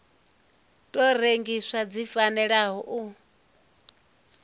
tou rengiwa dzi fanela u